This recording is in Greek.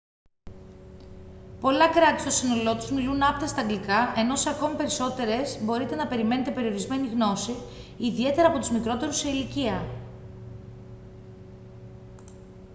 πολλά κράτη στο σύνολό τους μιλούν άπταιστα αγγλικά ενώ σε ακόμη περισσότερες μπορείτε να περιμένετε περιορισμένη γνώση ιδιαίτερα από τους μικρότερους σε ηλικία